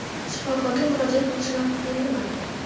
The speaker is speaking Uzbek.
Shifokorga murojaat qilish vaqti keldimi?